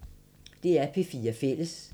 DR P4 Fælles